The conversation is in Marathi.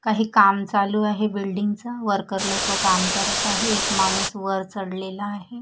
काही काम चालू आहे बिल्डिंगच वर्कर लोकं काम करत आहे एक माणूसवर चढलेला आहे.